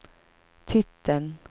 titeln